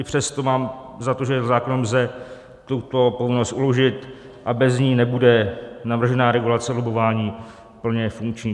I přesto mám za to, že zákonem lze tuto povinnost uložit a bez ní nebude navržená regulace lobbování plně funkční.